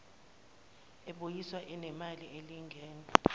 ebuyiswayo inenani elilingene